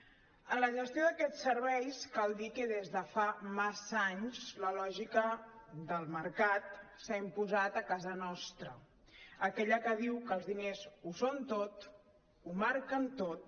en la gestió d’aquests serveis cal dir que des de fa massa anys la lògica del mercat s’ha imposat a casa nostra aquella que diu que els diners ho són tot ho marquen tot